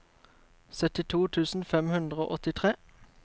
syttito tusen fem hundre og åttitre